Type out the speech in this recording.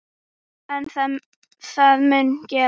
En mun það gerast?